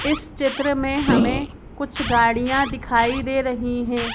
इस चित्र में हमें कुछ गाड़ियां दिखाई दे रही हैं।